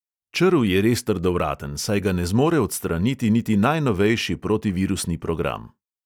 Črv je res trdovraten, saj ga ne zmore odstraniti niti najnovejši protivirusni program.